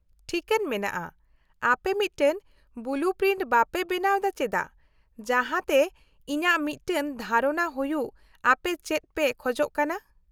-ᱴᱷᱤᱠᱟᱹᱱ ᱢᱮᱱᱟᱜᱼᱟ, ᱟᱯᱮ ᱢᱤᱫᱴᱟᱝ ᱵᱚᱞᱩ ᱯᱨᱤᱱᱴ ᱵᱟᱯᱮ ᱵᱮᱱᱟᱣ ᱮᱫᱟ ᱪᱮᱫᱟᱜ ᱡᱟᱦᱟᱸᱛᱮ ᱤᱧᱟᱹᱜ ᱢᱤᱫᱴᱟᱝ ᱫᱷᱟᱨᱚᱱᱟ ᱦᱩᱭᱩᱜ ᱟᱯᱮ ᱪᱮᱫ ᱯᱮ ᱠᱷᱚᱡ ᱠᱟᱱᱟ ?